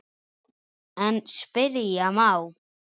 En spyrja má?